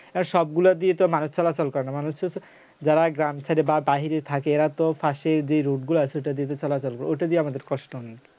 আর সবগুলা দিয়ে তো মানুষ চলাচল করে না মানুষ তো যারা গ্রাম ছেড়ে বা বাহিরে থাকে এরা তো পাশেই যে road গুলো আছে ওটা দিয়েই তো চলাচল করে ওটা দিয়ে আমাদের কষ্ট অনেক